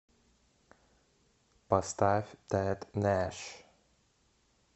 поставь тэд нэш